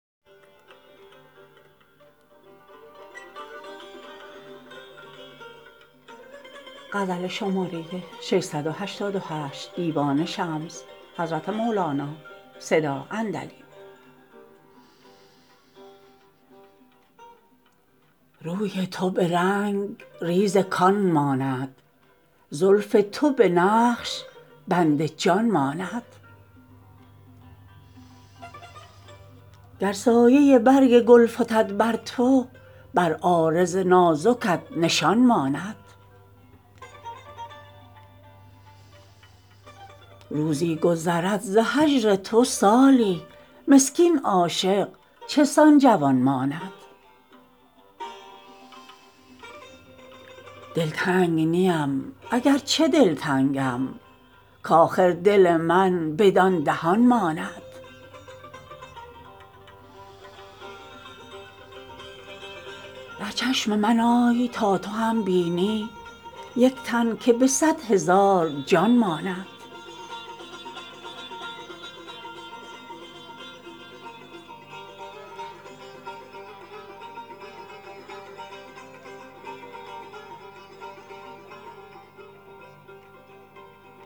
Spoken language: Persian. روی تو به رنگریز کان ماند زلف تو به نقش بند جان ماند گر سایه برگ گل فتد بر تو بر عارض نازکت نشان ماند روزی گذرد ز هجر تو سالی مسکین عاشق چنان جوان ماند دلتنگ نیم اگر چه دل تنگم کآخر دل من بدان دهان ماند در چشم من آی تا تو هم بینی یک تن که به صد هزار جان ماند